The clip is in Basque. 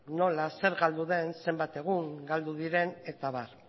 nola zer galdu den zenbat egun galdu diren eta abar